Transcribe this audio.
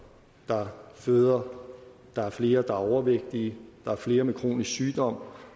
der føder der er flere der er overvægtige der er flere med kronisk sygdom